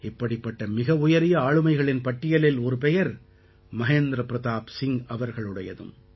இப்படிப்பட்ட மிகவுயரிய ஆளுமைகளின் பட்டியலில் ஒரு பெயர் மஹேந்திர பிரதாப் சிங் அவர்களுடையதும்